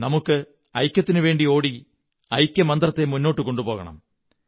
നമുക്കു ഐക്യത്തിനവേണ്ടി ഓടി ഐക്യമന്ത്രത്തെ മുന്നോട്ടു കൊണ്ടുപോകണം